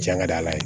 Jan ka d'a ye